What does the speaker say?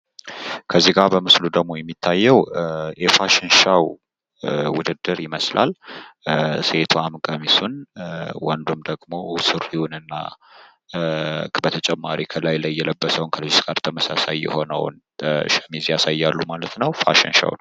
ከዚጋ በምስሉ ላይ ደግሞ የሚታየው የፋሽን ሾው ውድድር ይመስላል። ሴቷም ቀሚሱን ወንዱ ደግሞ ሱሪውንና በተጨማሪ ከላይ የለበሰውን ሚኒ እስከርት በተመሳሳይ ያሳያሉ ማለት ነው።